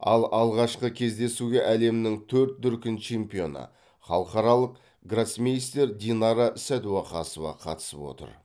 ал алғашқы кездесуге әлемнің төрт дүркін чемпионы халықаралық гроссмейстер динара сәдуақасова қатысып отыр